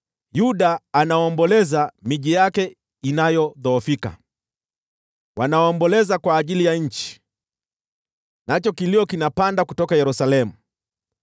“Yuda anaomboleza, miji yake inayodhoofika; wanaomboleza kwa ajili ya nchi, nacho kilio kinapanda kutoka Yerusalemu.